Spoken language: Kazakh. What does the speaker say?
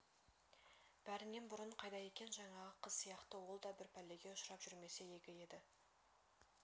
бәрінен бұрын қайда екен жаңағы қыз сияқты ол да бір пәлеге ұшырап жүрмесе игі еді